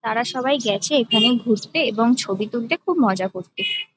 তারা সবাই গেছে এখানে ঘুরতে এবং ছবি তুলতে খুব মজা করতে।